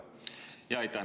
Aitäh!